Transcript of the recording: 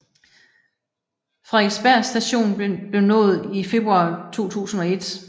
Frederiksberg Station blev nået i februar 2001